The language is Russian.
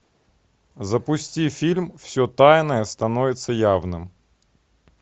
запусти фильм все тайное становится явным